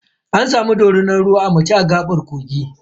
An samu dorinar ruwa a mace a gaɓar kogi.